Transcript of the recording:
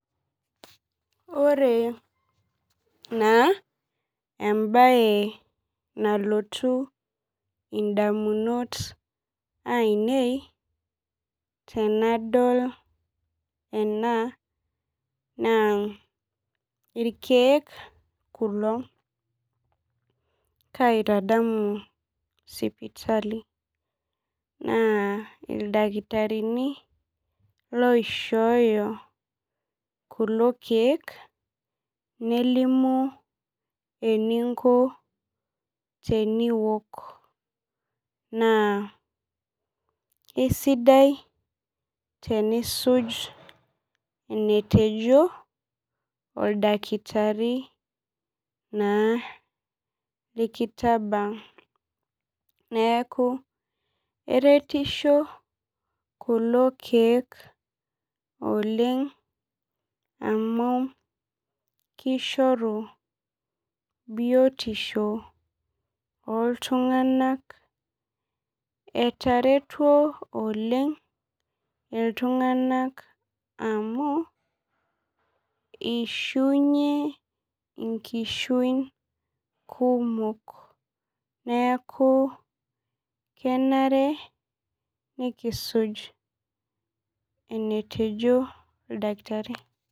Ore naa embaye nalotu indamunot ainei tenadol ena naa irkeek kulo kaitadamu sipitali naa ildakitarini loishooyo kulo keek nelimu eninko teniwok naa isidai tenisuj enetejo oldakitari naa likitabaa neeku eretisho kulo keek oleng amu kishoru biotisho oltung'anak etaretuo oleng iltung'anak amu ishiunyie inkishuin kumok neeku kenare nikisuj enetejo oldakitari.